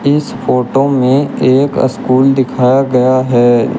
इस फोटो में एक स्कूल दिखाया गया है।